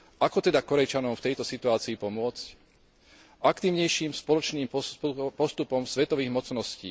Ako teda Kórejčanom v tejto situácii pomôcť? Aktívnejším spoločným postupom svetových mocností.